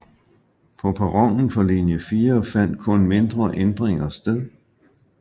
På perronen for linje 4 fandt kun mindre ændringer sted